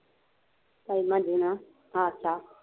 ਤਾਈ ਮਜੀ ਨਾ ਹਾਰਸ਼ਾਂ